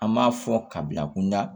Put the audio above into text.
An m'a fɔ kabila kunda